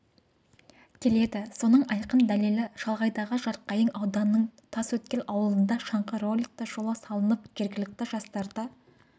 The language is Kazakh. келеді соның айқын дәлелі шалғайдағы жарқайың ауданының тасөткел ауылында шаңғы роликті жолы салынып жергілікті жастарды